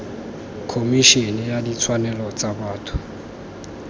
khomišene ya ditshwanelo tsa botho